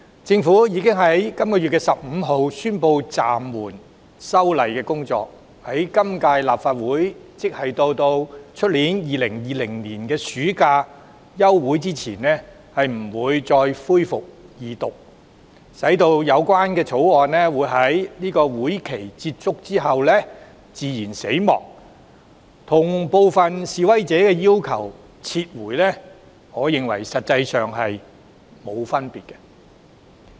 政府已於本月15日宣布暫緩修例的工作，在今屆立法會任期內，即直到2020年暑假休會前不會再恢復二讀辯論，意味相關條例草案在任期結束後"自然死亡"，我認為這與部分示威者的訴求——撤回該條例草案——實際上並無分別。